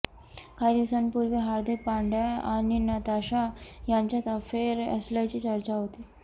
काही दिवसांपूर्वी हार्दीक पांड्या आणि नताशा यांच्यात अफेअर असल्याची चर्चा होती